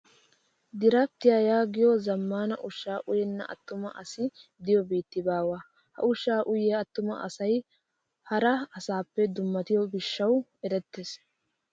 Diraptiyaa yaagiyoo zammaana ushaa uyyenna attumaa asi diyoo biitti baawa. Ha ushshaa uyyiyaa attuma asayi hara asaappe dummatiyoo gishshawu erettes.